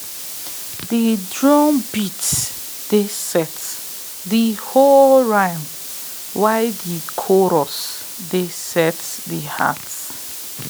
de drumbeat dey set de hoe rhyme while de chorus dey set de heart